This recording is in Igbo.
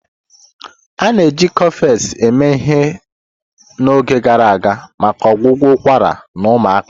A na-eji Cofex eme ihe n'oge gara aga maka ọgwụgwọ ụkwara na ụmụaka.